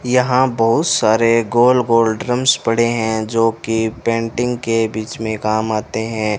यहां बहुत सारे गोल गोल ड्रम्स पड़े हैं जो की पेंटिंग के बीच में काम आते हैं।